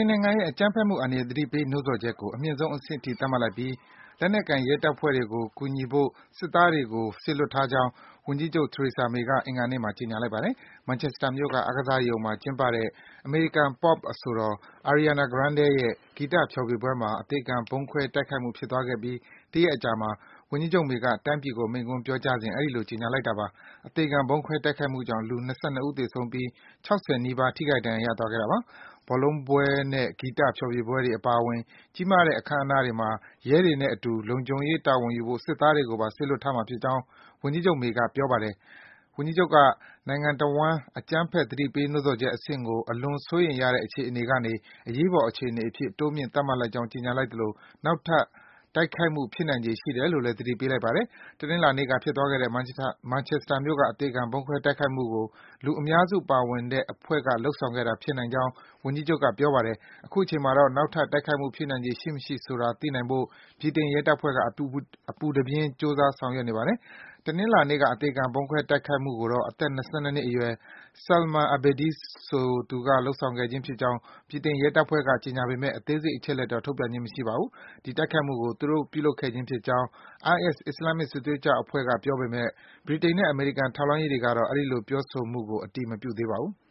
န်နိုင်ငံရဲ့အကြမ်းဖက်မှု အန္တရာယ် သတိပေး နှိုးဆော်ချက်ကို အမြင့်ဆုံးအဆင့် အထိ သတ်မှတ်လိုက်ပြီး လက်နက်ကိုင် ရဲတပ်ဖွဲ့တွေကို ကူညီဖို့ စစ်သားတွေကို စေလွှတ်ထားကြောင်း ဝန်ကြီးချုပ် Theresa May က အင်္ဂါနေ့မှာ ကြေညာလိုက်ပါတယ်။ Manchester မြို့က အားကစားရုံမှာ ကျင်းပတဲ့ အမေရိကန် Pop အဆိုတော် Ariana Grande ရဲ့ဂီတဖျော်ဖြေပွဲမှာ အသေခံဗုံးခွဲ တိုက်ခိုက်မှု ဖြစ်သွားခဲ့ပြီး တရက်အကြာမှာ ဝန်ကြီးချုပ် May က တိုင်းပြည်ကို မိန့်ခွန်းပြောကြားစဉ် အဲဒီလို ကြေညာလိုက်တာပါ။ အသေခံဗုံးခွဲ တိုက်ခိုက်မှုကြောင့် လူ ၂၂ ဦး သေဆုံးပြီး ၆၀ နီးပါး ထိခိုက် ဒဏ်ရာရသွားခဲ့တာပါ။ ဘောလုံးပွဲနဲ့ ဂီတဖျော်ဖြေပွဲတွေ အပါအဝင် ကြီးမားတဲ့ အခမ်းအနားတွေမှာ ရဲတွေနဲ့အတူ လုံခြုံရေး တာဝန်ယူဖို့ စစ်သားတွေကိုပါ စေလွှတ်ထားမှာ ဖြစ်ကြောင်း ဝန်ကြီးချုပ် May က ပြောပါတယ်။ ဝန်ကြီးချုပ်က နိုင်ငံတဝှမ်း အကြမ်းဖက် သတိပေးနှိုးဆော်ချက် အဆင့်ကို အလွန်စိုးရိမ်ရတဲ့ အခြေအနေကနေ အရေးပေါ် အခြေအနေအဖြစ် တိုးမြှင့် သတ်မှတ်လိုက်ကြောင်း ကြေညာလိုက်သလို နောက်ထပ် တိုက်ခိုက်မှု ဖြစ်နိုင်ခြေရှိတယ်လို့လည်း သတိပေးလိုက်ပါတယ်။ တနင်္လာနေ့က ဖြစ်သွားခဲ့တဲ့ Manchester မြို့က အသေခံ ဗုံးခွဲ တိုက်ခိုက်မှုကို လူအများစု ပါဝင်တဲ့အဖွဲ့က လုပ်ဆောင်ခဲ့တာ ဖြစ်နိုင်ကြောင်း ဝန်ကြီးချုပ်က ပြောကြားပါတယ်။ အခုချိန်မှာတော့ နောက်ထပ် တိုက်ခိုက်မှု ဖြစ်နိုင်ခြေ ရှိမရှိဆိုတာကို သိနိုင်ဖို့ ဗြိတိန် ရဲတပ်ဖွဲ့က အပူတပြင်း ကြိုးစား ဆောင်ရွက်နေပါတယ်။ တနင်္လာနေ့က အသေခံ တိုက်ခိုက်မှုကိုတော့ အသက် ၂၂ နှစ်အရွယ် Salman Abedi ဆိုသူက ပြုလုပ်ခဲ့ခြင်းဖြစ်ကြောင်း ဗြိတိန် ရဲတပ်ဖွဲ့က ကြေညာပေမယ့် တခြား အသေးစိတ် အချက်အလက်တွေကိုတော့ ထုတ်ပြန်ခြင်း မရှိပါဘူး။ ဒီတိုက်ခိုက်မှုကို သူတို့ ပြုလုပ်ခဲ့ခြင်းဖြစ်ကြောင်း IS အစ္စလာမ်မစ် စစ်သွေးကြွအဖွဲ့က ပြောကြားပေမယ့် ဗြိတိန်နဲ့ အမေရိကန် ထောက်လှမ်းရေးတွေကတော့ အဲဒီလို ပြောဆိုမှုကို အတည်မပြုသေးပါဘူး။